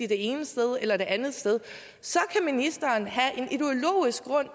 det ene sted eller det andet sted så kan ministeren have en ideologisk grund